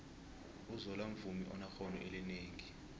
uzola mvumi onexhono elinengi